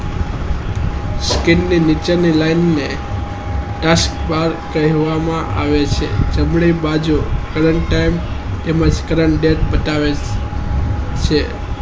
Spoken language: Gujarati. screen ની નીચે ની line ને taskbar કેહવા માં આવે છે અને બે બાજુ current time અને current date બતાવે છે